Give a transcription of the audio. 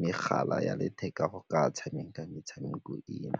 megala ya letheka go ka tshameka metshameko eo.